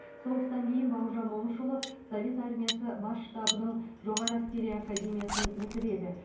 соғыстан кейін бауыржан момышұлы совет армиясы бас штабының жоғары әскери академиясын бітіреді